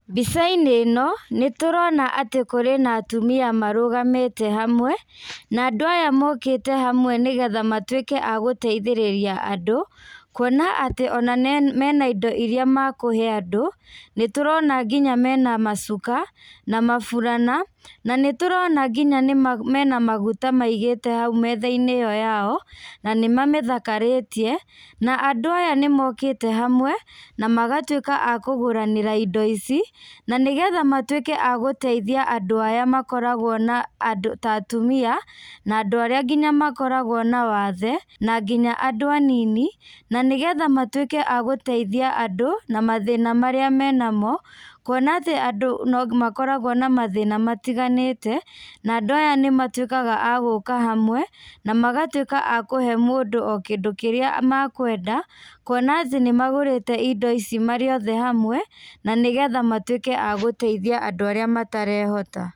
Mbica-inĩ ĩno, nĩ tũrona atĩ kũrĩ na atumia marũgamĩte hamwe, na andũ aya mokĩte hamwe nĩgetha matuĩke a gũteithĩrĩria andũ, kuona atĩ ona mena indo irĩa makũhe andũ. Nĩ tũrona nginya mena macuka, na maburana, na nĩ tũrona nginya nĩ mena maguta maigĩte hau metha-inĩ ĩyo yao, na nĩ mamĩthakarĩtie. Na andũ aya nĩ mokĩte hamwe, na magatuĩka a kũgũranĩra indo ici, na nĩgetha matuĩke a gũteithia andũ aya makoragwo na andũ ta atumia, na andũ arĩa nginya makoragwo na wathe, na nginya andũ anini, na nĩgetha matuĩke a gũteithia andũ, na mathĩna marĩa menamo, kuona atĩ andũ no makoragwo na mathĩna matiganĩte, na andũ aya nĩ matuĩkaga a gũka hamwe na magatuĩka a kũhe mũndũ o kĩndũ kĩrĩa makwenda, kuona atĩ nĩ magũrĩte indo ici marĩ othe hamwe, na nĩgetha matuĩke a gũteithia andũ arĩa matarehota.